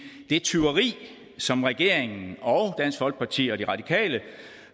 tyveri som regeringen og dansk folkeparti og de radikale